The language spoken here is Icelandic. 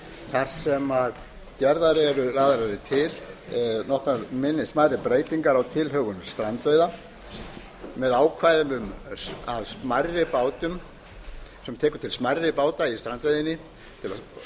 þar sem lagðar eru til nokkrar smærri breytingar á tilhögun strandveiða með ákvæðum sem taka til smærri báta í strandveiðinni markmiðið